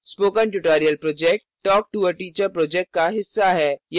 spoken tutorial project talktoa teacher project का हिस्सा है